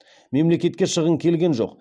мемлекетке шығын келген жоқ